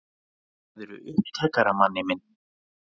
Sagðirðu upptakara, manni minn?